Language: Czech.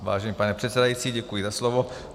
Vážený pane předsedající, děkuji za slovo.